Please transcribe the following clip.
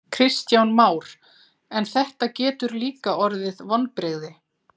Kristján Már: En þetta getur líka orðið vonbrigði?